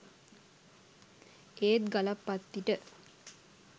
ඒත් ගලප්පත්තිට